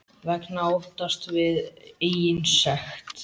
Vegna óttans við eigin sekt.